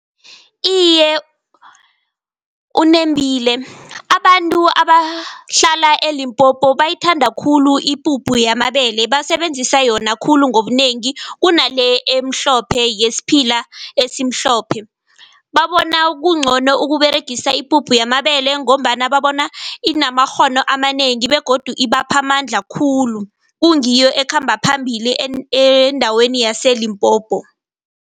Iye, unembile abantu abahlala eLimpopo bayithanda khulu ipuphu yamabele basebenzisa yona khulu ngobunengi, kunale emhlophe yesiphila esimhlophe. Babona kungcono ukuberegisa ipuphu yamabele ngombana babona inamakghono amanengi begodu ibapha amandla khulu. Kungiyo ekhamba phambili endaweni yaseLimpopo.